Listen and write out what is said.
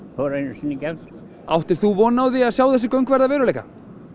fór einu sinni í gegn áttir þú von á því að sjá þessi göng verða að veruleika